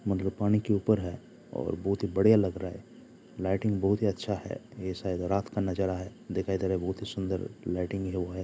मतलब पानी के ऊपर है और बहुत ही बढ़ियाँ लग रहा है लाइटिंग बहुत ही अच्छा है ये शायद रात का नज़ारा है दिखाई दे रहा है बहुत ही सुन्दर लाइटिंग हुआ है